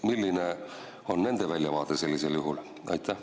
Milline on nende väljavaade sellisel juhul?